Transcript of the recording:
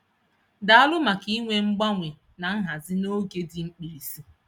Daalụ maka inwe mgbanwe na nhazi n'oge dị mkpirisi.